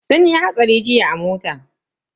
Sun yi hatsari jiya a mota.